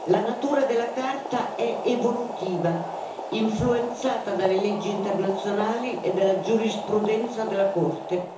La natura della Carta è evolutiva, influenzata dalle leggi internazionali e dalla giurisprudenza della Corte.